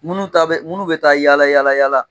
Minnu ta bɛ minnu bɛ taa yaala yaala yaala